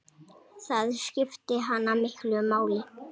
Það skipti hana miklu máli.